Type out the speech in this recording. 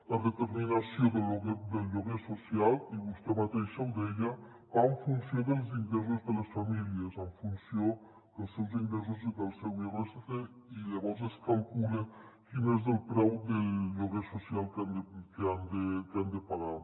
la determinació del lloguer social i vostè mateixa ho deia va en funció dels ingressos de les famílies en funció dels seus ingressos i del seu irsc i llavors es calcula quin és el preu del lloguer social que han de pagar